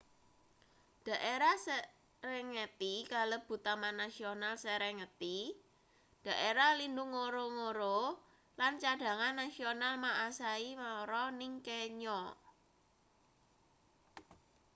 daerah serengeti kalebu taman nasional serengeti daerah lindhung ngorongoro lan cadhangan nasional maasai mara ning kenya